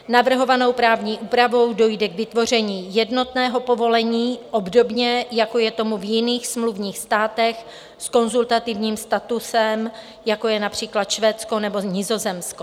Navrhovanou právní úpravou dojde k vytvoření jednotného povolení obdobně, jako je tomu v jiných smluvních státech s konzultativním statusem, jako je například Švédsko nebo Nizozemsko.